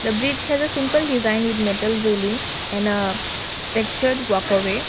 the bridge has a simple design with metal railing and a textured walk away.